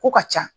Ko ka ca